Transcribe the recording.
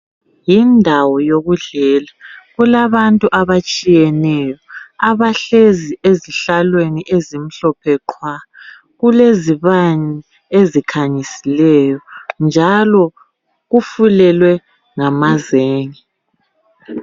Yindawo yokudlela kulabantu abatshiyeneyo abahlezi ezihlalweni ezimhlophe qhwa. Kulezibane ezikhanyisileyo njalo kufulelwe ngamazenge.